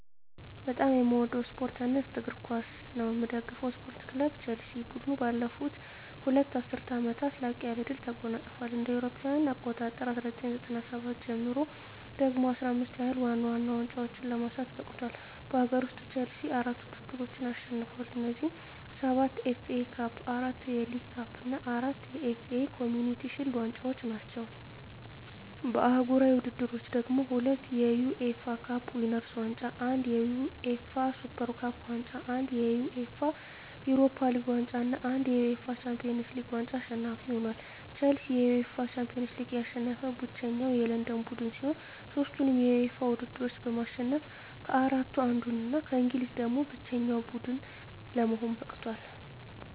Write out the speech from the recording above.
በጣም ምወደው ስፓርት አይነት እግር ኳስ ነው። ምደግፈው ስፓርት ክለብ ቸልሲ። ቡድኑ ባለፉት ሁለት ዐሥርት ዓመታት ላቅ ያለ ድል ተጎናጽፏል። ከእ.ኤ.አ 1997 ጀምሮ ደግሞ 15 ያህል ዋና ዋና ዋንጫዎችን ለማንሳት በቅቷል። በአገር ውስጥ፣ ቼልሲ አራት ውድድሮችን አሸንፏል። እነዚህም፤ ሰባት የኤፍ ኤ ካፕ፣ አራት የሊግ ካፕ እና አራት የኤፍ ኤ ኮምዩኒቲ ሺልድ ዋንጫዎች ናቸው። በአህጉራዊ ውድድሮች ደግሞ፤ ሁለት የዩኤፋ ካፕ ዊነርስ ዋንጫ፣ አንድ የዩኤፋ ሱፐር ካፕ ዋንጫ፣ አንድ የዩኤፋ ዩሮፓ ሊግ ዋንጫ እና አንድ የዩኤፋ ሻምፒዮንስ ሊግ ዋንጫ አሸናፊ ሆኖአል። ቼልሲ የዩኤፋ ሻምፒዮንስ ሊግን ያሸነፈ ብቸኛው የለንደን ቡድን ሲሆን፣ ሦስቱንም የዩኤፋ ውድድሮች በማሸነፍ ከአራቱ አንዱ እና ከእንግሊዝ ደግሞ ብቸኛው ቡድን ለመሆን በቅቷል።